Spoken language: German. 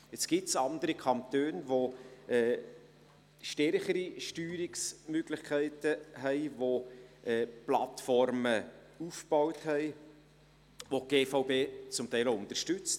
Jetzt gibt es andere Kantone, die stärkere Steuerungsmöglichkeiten haben, die Plattformen aufgebaut haben, welche die GVB zum Teil auch unterstützt.